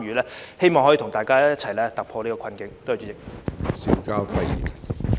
我希望可以跟大家一起突破現時的困境。